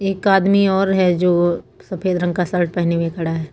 एक आदमी और है जो सफेद रंग का शर्ट पहने हुए खड़ा है।